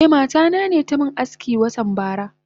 Eh mata nane tamin aski watan bara.